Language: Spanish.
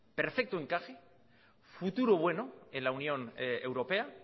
perfecto encaje futuro bueno en la unión europea